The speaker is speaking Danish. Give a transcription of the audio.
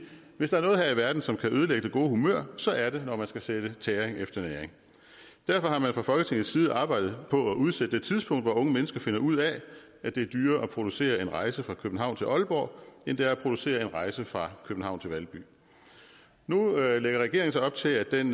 hvis der er noget her i verden som kan ødelægge det gode humør så er det når man skal sætte tæring efter næring derfor har man fra folketingets side arbejdet på at udsætte det tidspunkt hvor unge mennesker finder ud af at det er dyrere at producere en rejse fra københavn til aalborg end det er at producere en rejse fra københavn til valby nu lægger regeringen så op til at den